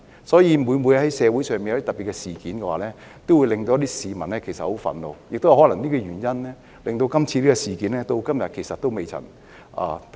所以，每次在社會上發生特別事件，都會令市民感到很憤怒，亦可能是這個原因，令這次事件至今仍未能平息。